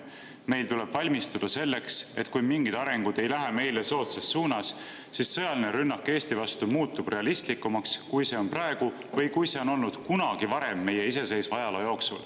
Meil tuleb valmistuda selleks, et kui mingid arengud ei lähe meile soodsas suunas, siis sõjaline rünnak Eesti vastu muutub realistlikumaks, kui see on praegu või kui see on olnud kunagi varem meie iseseisva ajaloo jooksul.